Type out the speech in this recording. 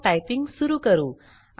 चला टाइपिंग सुरू करू